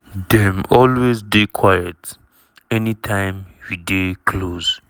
"dem always dey quiet anytime we dey close."